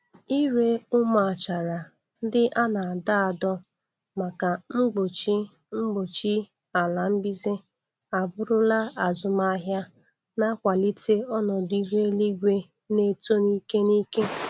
Ire ụmụ achara ndị a na-adọ adọ maka mgbochi mgbochi ala mbize abụrụla azụmahịa na-akwalite ọnọdụ ihu eluigwe na-eto ni'ike n'ike.